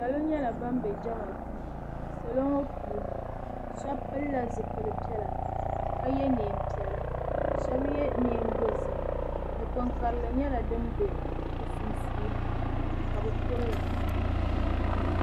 Salo nyɛla ban be jɛma duu salo ŋɔ puuni sheba pilila zipil'piɛla ka ye niɛnpiɛla sheba ye niɛn'dozim dikpin'karili nyɛla din be bɛ sunsuuni ka bɛ kuriya.